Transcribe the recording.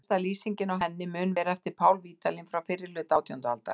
Elsta lýsing á henni mun vera eftir Pál Vídalín frá fyrri hluta átjándu aldar.